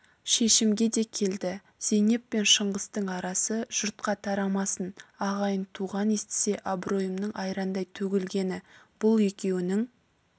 шешімге де келді зейнеп пен шыңғыстың арасы жұртқа тарамасын ағайын-туған естісе абыройымның айрандай төгілгені бұл екеуінің